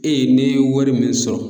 ne ye wari min sɔrɔ